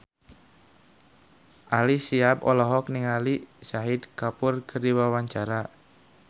Ali Syakieb olohok ningali Shahid Kapoor keur diwawancara